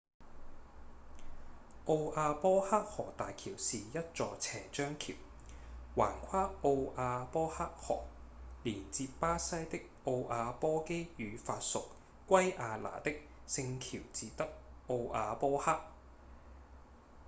奧亞波克河大橋是一座斜張橋橫跨奧亞波克河連接巴西的奧亞波基與法屬圭亞那的聖喬治德奧亞波克